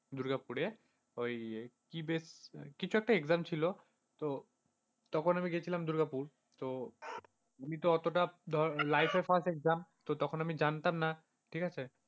দুর্গাপুরে, ওই কি বেশ, কিছু একটা exam ছিল, তো তখন আমি গিয়েছিলাম দুর্গাপুর। তো আমি তো অতোটা life এর fast exam তখন আমি জানতাম না ঠিক আছে।